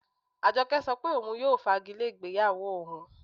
Ajọkẹ̀ sọ́ pé ọun yóò fàgìlẹ̀ igbeyáwó ọun.